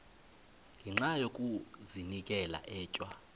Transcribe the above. ngenxa yokazinikela etywa